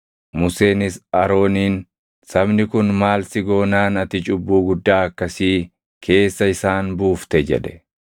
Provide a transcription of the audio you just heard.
Museenis Arooniin, “Sabni kun maal si goonaan ati cubbuu guddaa akkasii keessa isaan buufte?” jedhe.